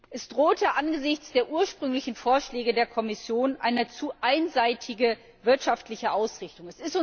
Es drohte angesichts der ursprünglichen Vorschläge der Kommission eine zu einseitige wirtschaftliche Ausrichtung.